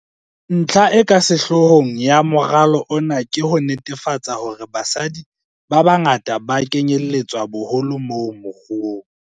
Ntlha e ka sehlohlolong ya moralo ona ke ho netefatsa hore basadi ba bangata ba kenyeletswa boholo mo moruo.